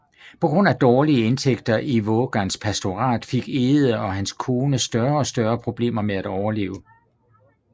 På grund af dårlige indtægter i Vågans pastorat fik Egede og hans kone større og større problemer med at overleve